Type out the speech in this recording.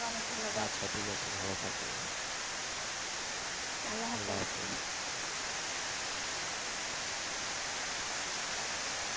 আচ্ছা ঠিকাছে ভালো থাকিও